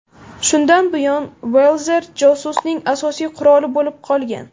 Shundan buyon Walther josusning asosiy quroli bo‘lib kelgan.